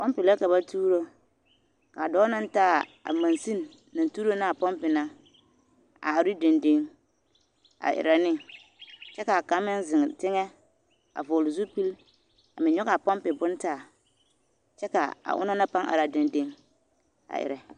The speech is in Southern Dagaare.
Pompi la ka ba tuuro a dɔɔ naŋ taa a monsini naŋ tuuro naa pompi na a are ne dendeŋ a erɛ ne kyɛ k'a kaŋ meŋ zeŋ teŋɛ a vɔgele zupili a meŋ nyɔge a pompi bone taa kyɛ k'a onaŋ na a pãã are dendeŋ a erɛ.